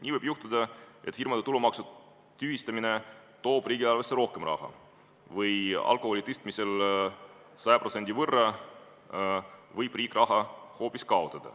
Nii võib juhtuda, et firmade tulumaksu tühistamine toob riigieelarvesse rohkem raha või alkoholiaktsiisi tõstmisel 100% võrra riik raha hoopis kaotab.